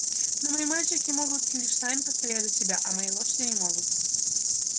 но мои мальчики могут лишь сами постоять за себя а мои лошади не могут